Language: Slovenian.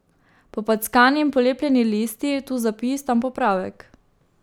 Popackani in polepljeni listi, tu zapis, tam popravek ...